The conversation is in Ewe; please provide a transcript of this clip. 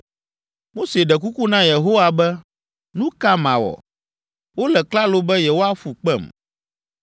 Mose ɖe kuku na Yehowa be, “Nu ka mawɔ? Wole klalo be yewoaƒu kpem.”